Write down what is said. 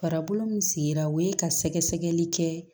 Farikolo min sigira o ye ka sɛgɛsɛgɛli kɛ